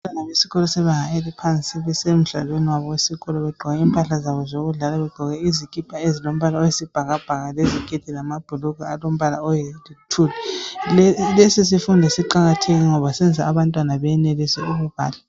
Abantwana besikolo sebanga eliphansi besemdlalweni wabo wesikolo begqoke impahla zabo zokudlala, begqoke izikipa ezilombala oyisibhakabhaka leziketi lamabhulugwe alombala oluthuli. Lesi sifundo siqakathekile ngoba senza abantwana benelise ukubala.